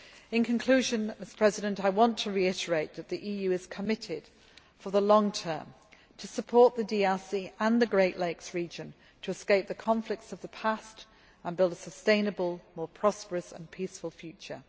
In conclusion, I want to reiterate that the EU is committed for the long term to supporting the DRC and the Great Lakes region to escape the conflicts of the past and build a sustainable, more prosperous and peaceful future.